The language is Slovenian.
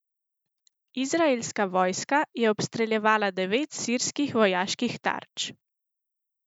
Izraelska vojska je obstreljevala devet sirskih vojaških tarč.